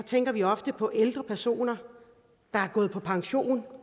tænker vi ofte på ældre personer der er gået på pension